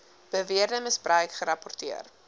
beweerde misbruik gerapporteer